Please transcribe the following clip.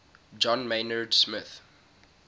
john maynard smith